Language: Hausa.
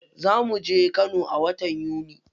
Za muje kano a watan yuni.